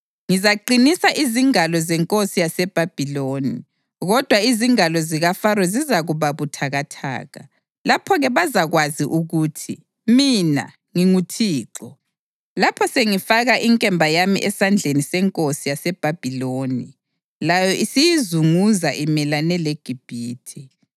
Ngizaqinisa izingalo zenkosi yaseBhabhiloni, kodwa izingalo zikaFaro zizakuba buthakathaka. Lapho-ke bazakwazi ukuthi mina nginguThixo lapho sengifaka inkemba yami esandleni senkosi yaseBhabhiloni layo isiyizunguza imelane leGibhithe.